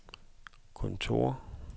kontor